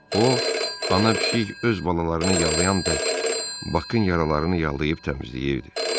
O, ana pişik öz balalarını yalayan tək Bakın yaralarını yalıyıb təmizləyirdi.